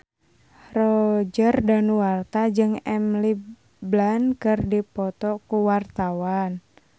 Roger Danuarta jeung Emily Blunt keur dipoto ku wartawan